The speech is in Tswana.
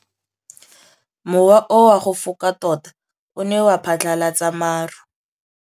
Mowa o wa go foka tota o ne wa phatlalatsa maru.